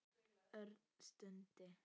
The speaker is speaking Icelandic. Örn stundi.